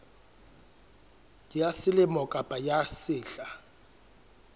ya selemo kapa ya sehla